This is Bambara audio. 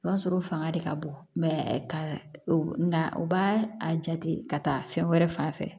O b'a sɔrɔ o fanga de ka bon ka na u b'a a jate ka taa fɛn wɛrɛ fan fɛ